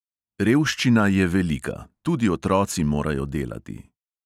Revščina je velika, tudi otroci morajo delati.